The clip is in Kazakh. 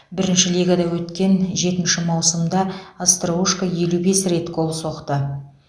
бірінші лигада өткен жетінші маусымда остроушко елу бес рет гол соқты